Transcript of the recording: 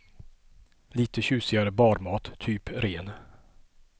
Lite tjusigare barmat, typ ren.